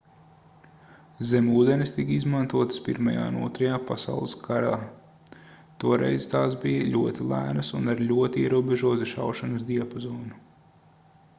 zemūdenes tika izmantotas pirmajā un otrajā pasaules karā toreiz tās bija ļoti lēnas un ar ļoti ierobežotu šaušanas diapazonu